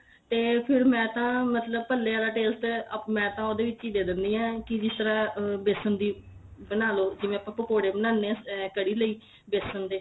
ਤੇ ਫੇਰ ਮੈਂ ਤਾਂ ਮਤਲਬ ਭੱਲੇ ਵਾਲਾ taste ਮੈਂ ਤਾਂ ਦੇ ਦਿੰਦੀ ਆ ਕੀ ਜਿਸ ਤਰ੍ਹਾਂ ਬੇਸਣ ਦੀ ਬਣਾ ਲੋ ਜਿਵੇਂ ਆਪਾਂ ਪਕੋੜੇ ਬਣਾਨੇ ਆ ਕਦੀ ਲਈ ਬੇਸਣ ਦੇ